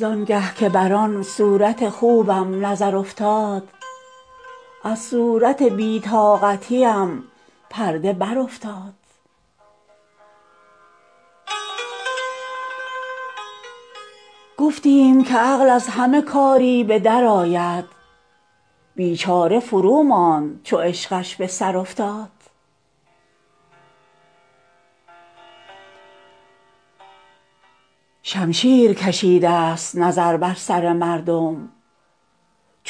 زان گه که بر آن صورت خوبم نظر افتاد از صورت بی طاقتیم پرده برافتاد گفتیم که عقل از همه کاری به درآید بیچاره فروماند چو عشقش به سر افتاد شمشیر کشیدست نظر بر سر مردم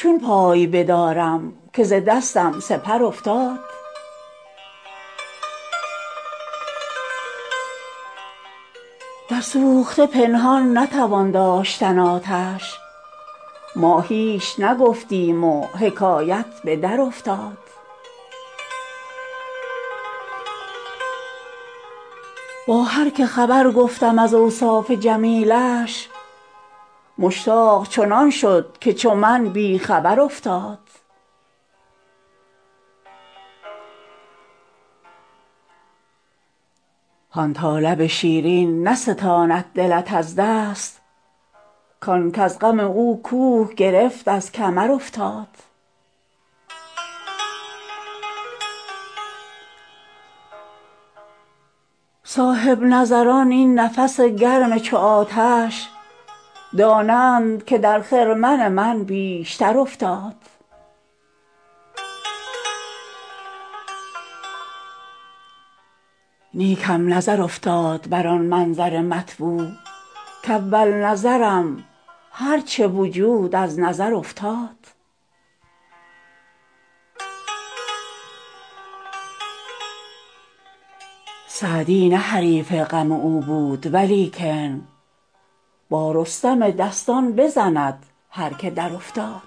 چون پای بدارم که ز دستم سپر افتاد در سوخته پنهان نتوان داشتن آتش ما هیچ نگفتیم و حکایت به درافتاد با هر که خبر گفتم از اوصاف جمیلش مشتاق چنان شد که چو من بی خبر افتاد هان تا لب شیرین نستاند دلت از دست کان کز غم او کوه گرفت از کمر افتاد صاحب نظران این نفس گرم چو آتش دانند که در خرمن من بیشتر افتاد نیکم نظر افتاد بر آن منظر مطبوع کاول نظرم هر چه وجود از نظر افتاد سعدی نه حریف غم او بود ولیکن با رستم دستان بزند هر که درافتاد